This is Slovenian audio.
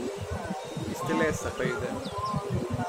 Iz telesa pride.